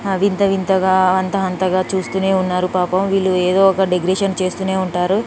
అవింత వింతగా అంత అంతగా చూస్తూనే ఉన్నారు పాపం వీళ్ళు ఏదో ఒక డెకరేషన్ చేస్తూనే ఉంటారు